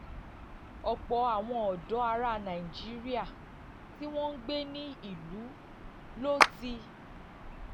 ọ̀pọ̀ àwọn ọ̀dọ́ ará nàìjíríà tí wọ́n ń gbé ní ìlú ló ti